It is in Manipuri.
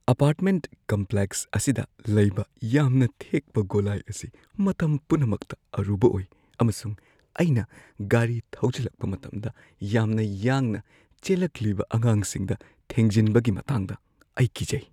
ꯑꯄꯥꯔꯠꯃꯦꯟꯠ ꯀꯝꯄ꯭ꯂꯦꯛꯁ ꯑꯁꯤꯗ ꯂꯩꯕ ꯌꯥꯝꯅ ꯊꯦꯛꯄ ꯒꯣꯂꯥꯏ ꯑꯁꯤ ꯃꯇꯝ ꯄꯨꯝꯅꯃꯛꯇ ꯑꯔꯨꯕ ꯑꯣꯏ ꯑꯃꯁꯨꯡ ꯑꯩꯅ ꯒꯥꯔꯤ ꯊꯧꯖꯤꯜꯂꯛꯄ ꯃꯇꯝꯗ ꯌꯥꯝꯅ ꯌꯥꯡꯅ ꯆꯦꯜꯂꯛꯂꯤꯕ ꯑꯉꯥꯡꯁꯤꯡꯗ ꯊꯦꯡꯖꯤꯟꯕꯒꯤ ꯃꯇꯥꯡꯗ ꯑꯩ ꯀꯤꯖꯩ꯫